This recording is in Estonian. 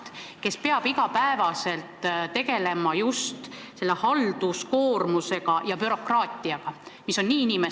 Minu küsimus puudutab muudatusettepanekut nr 51, mille sisu on ettepanek lõpetada osalise või puuduva töövõimega töötavate inimeste toetuse vähendamine.